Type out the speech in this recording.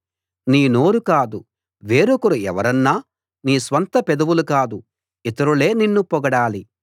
నీ నోరు కాదు వేరొకరు ఎవరన్నా నీ స్వంత పెదవులు కాదు ఇతరులే నిన్ను పొగడాలి